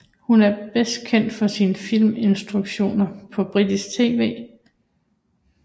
Hun er bedst kendt for sine filminstruktioner på britisk tv